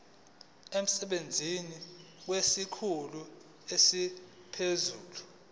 emsebenzini kwesikhulu esiphezulu